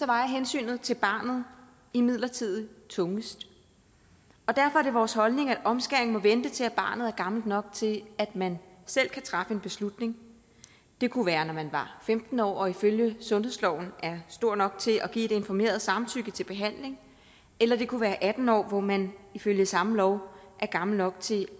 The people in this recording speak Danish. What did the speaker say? vejer hensynet til barnet imidlertid tungest og derfor er det vores holdning at omskæring må vente til barnet er gammelt nok til at man selv kan træffe en beslutning det kunne være når man var femten år og ifølge sundhedsloven er stor nok til at give et informeret samtykke til behandling eller det kunne være atten år hvor man ifølge samme lov er gammel nok til